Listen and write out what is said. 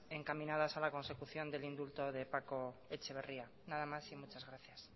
encaminadas a la consecución del indulto de paco larrañaga nada más y muchas gracias